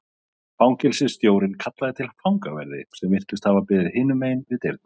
Fangelsisstjórinn kallaði til fangaverði sem virtust hafa beðið hinum megin við dyrnar.